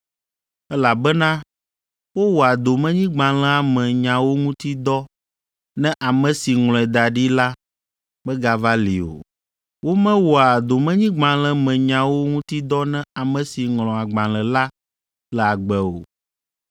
elabena wowɔa domenyigbalẽa me nyawo ŋuti dɔ ne ame si ŋlɔe da ɖi la megava li o. Womewɔa domenyigbalẽ me nyawo ŋuti dɔ ne ame si ŋlɔ agbalẽ la le agbe o.